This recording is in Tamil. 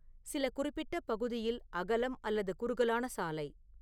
சில குறிப்பிட்ட பகுதியில் அகலம் அல்லது குறுகலான சாலை